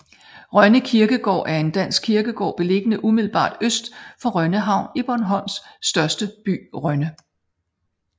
Rønne Kirkegård er en dansk kirkegård beliggende umiddelbart øst for Rønne Havn i Bornholms største by Rønne